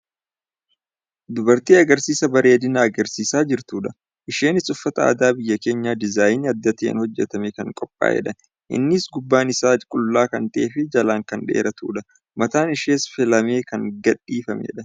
Dubartii agarsiisa bareedinaa agarsiisaa jirtudha. Isheenis uffata aadaa biyya keenyaa diizaayinii adda ta'een hojjatamee kan qophaa'edha. Innis gubbaan isaa qullaa kan ta'eefi jalaan kan dheeratudha. Mataan ishees filamee kan gadiifamedha.